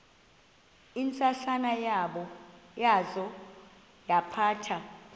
ntsasana yaza yaphatha